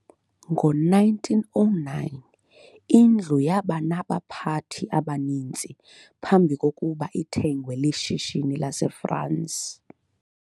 ngo 1909 indlu yaba naba pathi abaninsi bambikoba ithengwe lishishini lase France